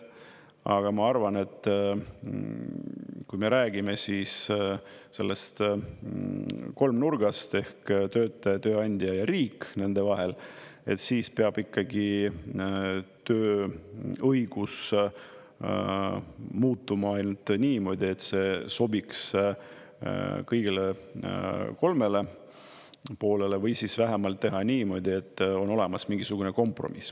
Aga ma arvan, et kui me räägime sellest kolmnurgast ehk töötaja, tööandja ja riik nende vahel, siis peab ikkagi tööõigus muutuma ainult niimoodi, et see sobiks kõigile kolmele poolele, või siis vähemalt teha niimoodi, et on olemas mingisugune kompromiss.